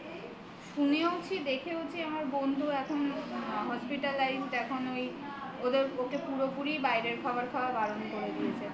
শুনেওছি দেখেওছি আমার বন্ধু এখন hospitalized এখন ওই ওদের ওকে পুরোপুরি বাইরের খাবার খাওয়া বারণ করে দিয়েছে